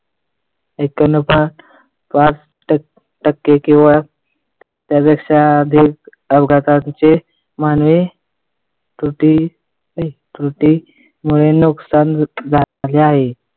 टक्के केवळ किंवा त्यापेक्षा अधिक अपघाताचे मानवी त्रुटी त्रुटी मुळे नुकसान झाले आहे.